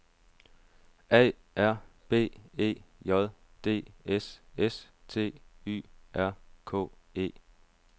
A R B E J D S S T Y R K E